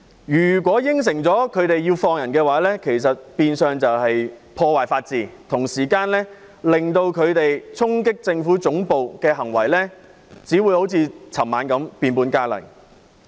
如果應承反對派釋放被捕人士，變相是破壞法治，同時只會令衝擊政府總部的行為好像昨晚般變本加厲。